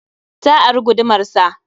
Ta ari gudumar sa.